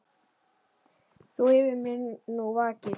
Þú yfir mér nú vakir.